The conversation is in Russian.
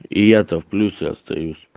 и я то в плюсе остаюсь